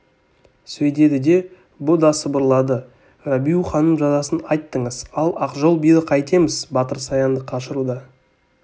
сөйдеді де бұ да сыбырлады рабиу ханым жазасын айттыңыз ал ақжол биді қайтеміз батыр саянды қашыруда